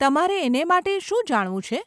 તમારે એને માટે શું જાણવું છે?